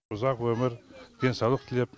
ұзақ өмір денсаулық тілеп